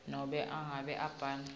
nobe nangabe abhale